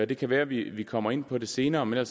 det kan være vi vi kommer ind på det senere men